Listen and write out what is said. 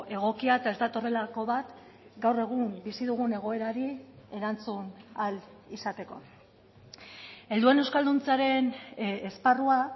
egokia eta ez datorrelako bat gaur egun bizi dugun egoerari erantzun ahal izateko helduen euskalduntzearen esparrua